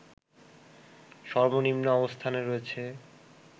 সর্বনিম্ন অবস্থানে রয়েছে